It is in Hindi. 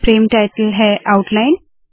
फ्रेम टाइटल रूपरेखा है